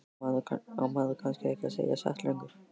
Á maður kannski ekki að segja satt lengur?